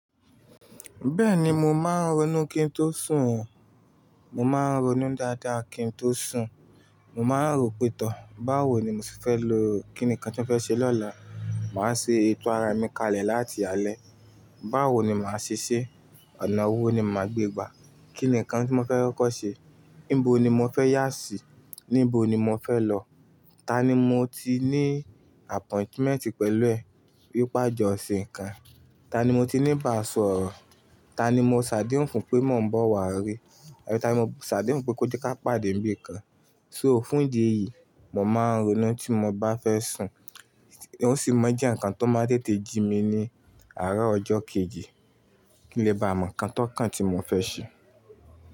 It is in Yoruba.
Bẹ́ẹ̀ni mo máa ń ronú kí n tó sùn o. Mo máa ń ronú dáadáa kí n tó sùn. Mo máa ń rò pé tọ̀ báwo ni mo ti fẹ́ lo, kí ni nǹkan tí mo fẹ́ ṣe lọ́la, màá ṣe ètò ara mi kalẹ̀ láti alẹ́. Báwo ni màá se sé, ọ̀nà wo ni màá gbé gbà, kí ni nǹkan tí mo fẹ́ kọ́kọ ṣe, níbo ni mo fẹ́ yà sí, níbo ni mo fẹ́ lọ, ta ni mo ti ní appointment pẹ̀lú ẹ̀, wi pe a jọ se nǹkan, ta ni mo ti níba sọ̀rọ̀, ta ni mo ṣàdéhùn fún pé mo ń bọ̀ wá rí, ta ni mo ṣàdéhùn fún pé kó jẹ ká pàdé níbí kan. So fún ìdí èyí, mo máa ń ronú tí mo bá fẹ́ sùn. Ó sì mọ̀ n jẹ́ nǹkan tó máa n tètè jí mi ní àárọ̀ ọjọ́ kejì kí n lè bá mọ̀ nǹkan tó kàn tí mo fẹ́ ṣe.